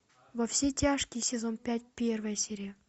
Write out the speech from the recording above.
во все тяжкие сезон пять первая серия